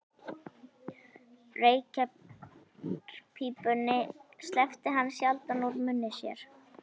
Reykjarpípunni sleppti hann sjaldan úr munni sér.